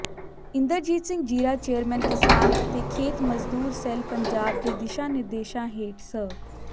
Inderjit Singh Zira chairman ਕਿਸਾਨ ਅਤੇ ਖੇਤ ਮਜ਼ਦੂਰ ਸੈੱਲ ਪੰਜਾਬ ਦੇ ਦਿਸ਼ਾ ਨਿਰਦੇਸ਼ਾਂ ਹੇਠ ਸ